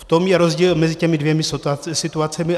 V tom je rozdíl mezi těmi dvěma situacemi.